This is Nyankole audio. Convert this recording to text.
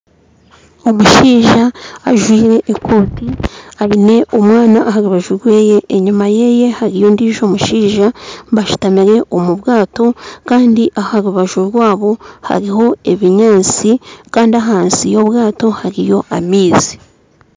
Omushaija ajwaire ekooti aine omwana aha rubaju rwe enyuma ye hariyo ondiijo omushaija bashutamire omu bwato kandi aharubaju rwabo hariho ebinyaatsi kandi ahansi ya obwato hariyo amaizi